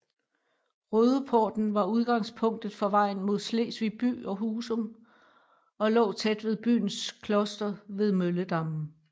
Rødeporten var udgangspunktet for vejen mod Slesvig by og Husum og lå tæt ved byens kloster ved Mølledammen